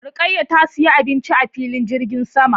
Rukkaya ta siyi abinci a filin jirgin sama